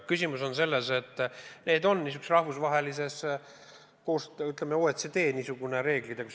Küsimus on selles, et need on rahvusvahelises koostöös, ütleme, OECD-s, heaks kiidetud reeglid.